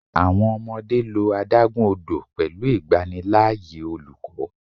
Awọn ọmọde lo adagun odo pẹlu igbanilaaye oluko